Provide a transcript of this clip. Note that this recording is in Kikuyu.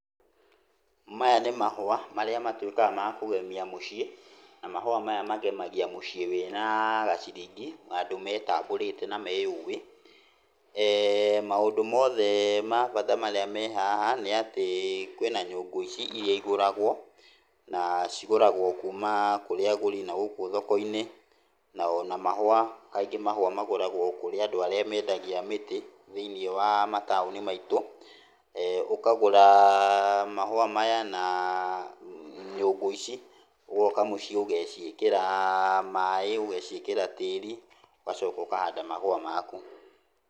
Maya nĩ mahũa marĩa matuĩkaga ma kũgemia mũciĩ, na mahũa maya magemagia mĩciĩ wĩna gaciringi, andũ metambũrĩte na meyũĩ. Maũndũ mothe ma bata marĩa me hah,a nĩatĩ kwĩna nyũngũ ici, iria igũragwo, na cigũragwo kuma kũrĩ agũri na gũkũ thoko-inĩ, na ona mahũa, kaingĩ mahũa magũragwo kũrĩ andũ arĩa mendagia mĩtĩ thĩiniĩ wa mataũni maitũ. Ũkagũra mahũa maya na nyũngũ ici, ũgoka mũciĩ ũgaciĩkĩra maĩ, ũgaciĩkĩra tĩri, ũgacoka ũkahanda mahũa maku.